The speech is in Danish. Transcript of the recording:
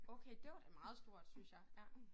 Okay det var da meget stort synes jeg ja